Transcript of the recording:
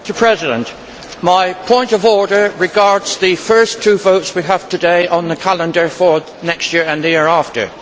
Mr President, my point of order regards the first two votes we have today on the calendar for next year and the year after.